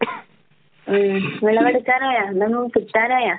ഉം വിളവെടുക്കാറായോ? എന്തെങ്കിലും കിട്ടാറായോ?